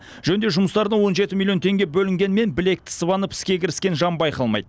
жөндеу жұмыстарына он жеті миллион теңге бөлінгенімен білекті сыбанып іске кіріскен жан байқалмайды